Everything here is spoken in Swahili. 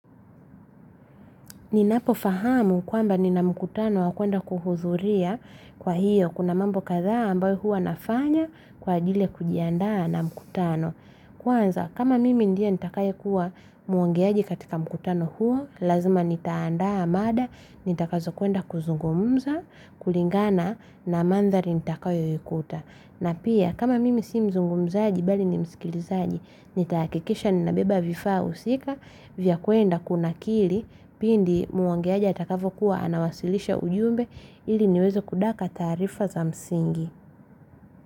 Ninapofahamu kwamba ni na mkutano wa kwenda kuhudhuria kwa hiyo kuna mambo kadhaa ambayo huwa nafanya kwa ajili ya kujiandaa na mkutano. Kwanza kama mimi ndiye nitakayekuwa muongeaji katika mkutano huo, lazima nitaandaa mada nitakazo kwenda kuzungumza kulingana na mandhali nitakayo yakuta. Na pia kama mimi si mzungumzaji bali ni mskilizaji ni takikisha ninabeba vifaa husika vya kuenda kunakili pindi muongeaja atakapo kuwa anawasilisha ujumbe ili niwezekudaka taarifa za msingi.